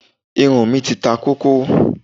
Irun mí ti ta kókó.